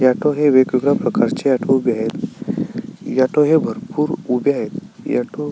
एटो हे वेगवेगळ्या प्रकारचे एटो उभे आहेत एटो हे भरपुर उभे आहेत एटो --